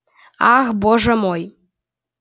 ах боже мой